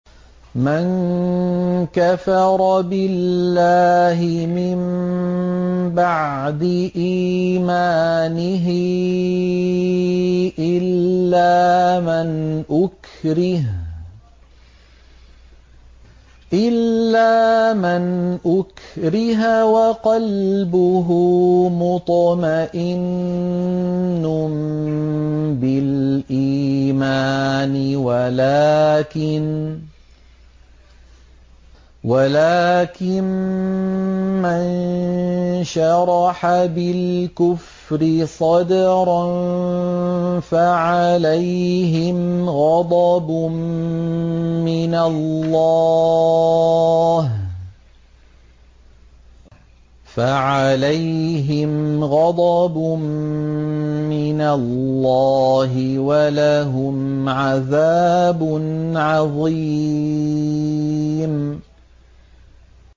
مَن كَفَرَ بِاللَّهِ مِن بَعْدِ إِيمَانِهِ إِلَّا مَنْ أُكْرِهَ وَقَلْبُهُ مُطْمَئِنٌّ بِالْإِيمَانِ وَلَٰكِن مَّن شَرَحَ بِالْكُفْرِ صَدْرًا فَعَلَيْهِمْ غَضَبٌ مِّنَ اللَّهِ وَلَهُمْ عَذَابٌ عَظِيمٌ